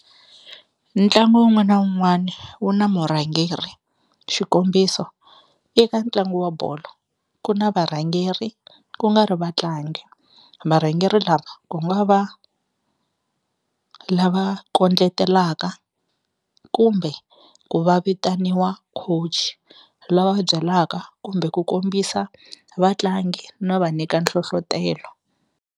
Ntlangu wun'wana na wun'wana wu na murhangeri xikombiso eka ntlangu wa bolo ku na varhangeri ku nga ri vatlangi varhangeri lava ku nga va lava kondletelaka kumbe ku va vitaniwa coach lava va byelaka kumbe ku kombisa vatlangi no va nyika nhlohlotelo.